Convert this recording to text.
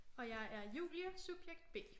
Og jeg er Julie subjekt B